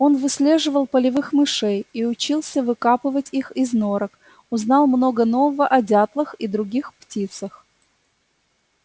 он выслеживал полевых мышей и учился выкапывать их из норок узнал много нового о дятлах и других птицах